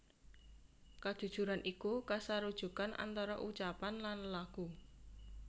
Kajujuran iku kasarujukan antara ucapan lan lelaku